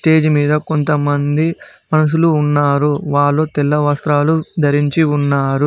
Stage మీద కొంతమంది మనుషులు ఉన్నారు వాళ్ళు తెల్ల వస్త్రాలు ధరించి ఉన్నారు.